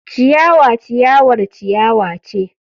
Ciyawa ciyawar ciyawa ce.